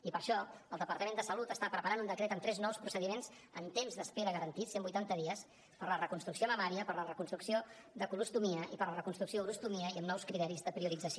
i per això el departament de salut està preparant un decret amb tres nous procediments en temps d’espera garantits cent vuitanta dies per a la reconstrucció mamària per a la reconstrucció de colostomia i per a la reconstrucció d’urostomia i amb nous criteris de priorització